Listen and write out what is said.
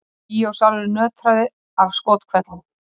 Bíósalurinn nötraði af skothvellum.